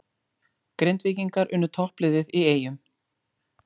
Grindvíkingar unnu toppliðið í Eyjum